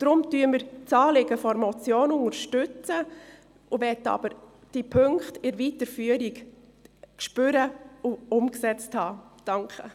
Darum unterstützen wir das Anliegen der Motion, wollen aber die Punkte bei der Weiterführung spüren und umgesetzt haben.